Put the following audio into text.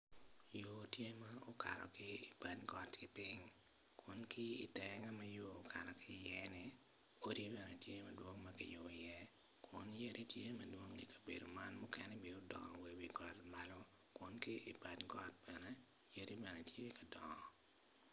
Yo tye ma okato ki ibat goti piny kun ki itenge ma yo okato ki iyenni odi bene tye madwong ma kiyubo iye kun yadi tye madwong ikabedo man mukene odongo wa iwi got malo kun ki ibad gotmalo yadi bene tye ka dongo.